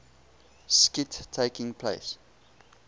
skit taking place